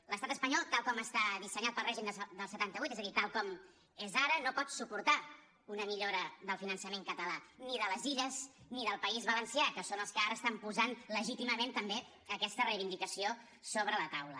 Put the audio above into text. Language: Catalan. l’estat espanyol tal com està dissenyat pel regim del setanta vuit és a dir tal com és ara no pot suportar una millora del finançament català ni de les illes ni del país valencià que són els que ara estan posant legítimament també aquesta reivindicació sobre la taula